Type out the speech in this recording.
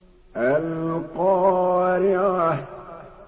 الْقَارِعَةُ